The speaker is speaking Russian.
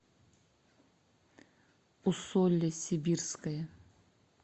усолье сибирское